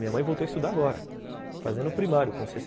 Minha mãe voltou a estudar agora, fazendo primário, com sessenta